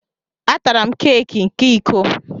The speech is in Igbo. A tara m keeki ke iko?